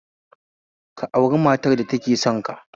Ka auri matar da take sonka